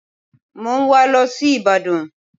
Mo ń wà á lọ sí ìbàdàn